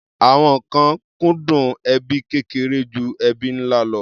Àwọn kan kúndùn ẹbí kékeré ju ẹbí ńlá lọ.